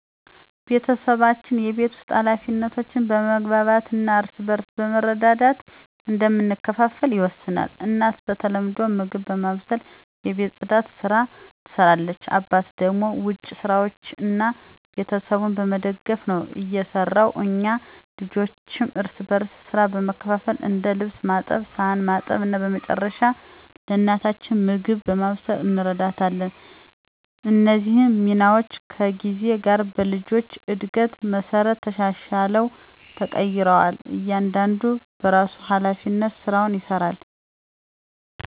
ቤተሰባችን የቤት ውስጥ ኃላፊነቶችን በመግባባት እና እርስ በርስ በመረዳዳት እንደምንከፋፈል ይወሰናል። እናት በተለምዶ ምግብ በማብሰልና የቤት ጽዳትን ስራ ትሰራለች አባት ደግሞ ውጭ ስራዎችን እና ቤተሰቡን በመደገፍ ነው የሰራው። እኛ ልጆችም እርስ በርስ ሥራ በመካፈል እንደ ልብስ ማጠብ ሳህን ማጠብ እና በመጨረሻ ለእናታችን ምግብ በማብሰል እንረዳታለን። እነዚህ ሚናዎች ከጊዜ ጋር በልጆች እድገት መሠረት ተሻሽለው ተቀይረዋል እያንዳንዱ በራሱ ሀላፊነት ስራውን ይሰራል።